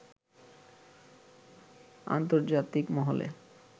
আন্তর্জাতিক মহলে